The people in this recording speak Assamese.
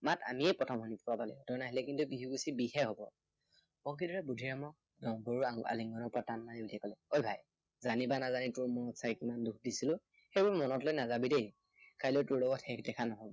মতা তইয়ে প্ৰথম শুনাব লাগিব। তই নাহিলে কিন্তু বিহু গুচি বিহহে হব। বংশীধৰে বুদ্ধিৰামক ডম্বৰুৰ আলিংগনৰ পৰা টান মাৰি উলিয়াই কলে, অই ভাই, জানি বা নাজিনি তোৰ মনত কিবা দুখ দিছিলো, সেইবোৰ মনত লৈ নাযাবি দেই। কাইলৈ তোৰ লগত শেষ দেখা নহয়